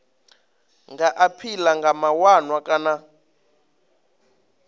nga aphila kha mawanwa kana